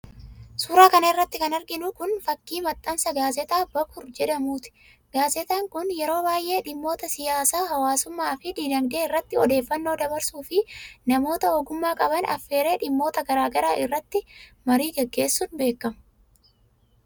Suura kana irratti kan arginu kun, fakkii maxxansa gaazexaa Bakur jedhamuuti. Gaazexaan kun ,yeroo baay'ee dhimmota siyaasaa, hawaasummaa fi diinagdee irratti odeeffannoo dabarsuu fi namoota ogummaa qaban affeeree dhimmoota garaa garaa irratti marii gaggeessun beekma.